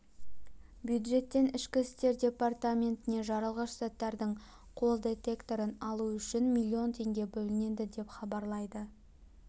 бюджеттен ішкі істер департаментіне жарылғыш заттардың қол детекторын алу үшін млн теңге бөлінеді деп хабарлайды